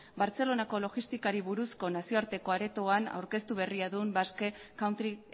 bartzelonako logistikari buruzko nazioarteko aretoan aurkeztu berria du basque country